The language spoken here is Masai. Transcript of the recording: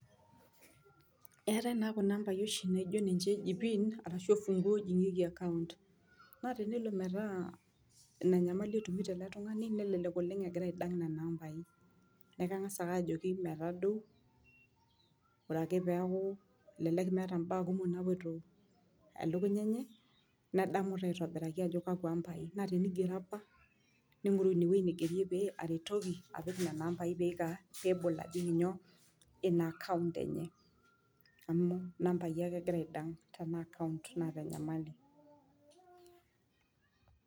Eetae naa kuna ambai naijo oshi ninche eji pin naa ninche ebolieki account , naa tenelo naa inanyamali itumitoto naa ekengas ake ajoki metadou , ore ake metaa mbaa kumok napoito telukunya enye nedamu taa aitobiraki ajo kakwa ambai ningoru inewueji nigeri apa ningoru nena ambai pebol apik inaacount enye .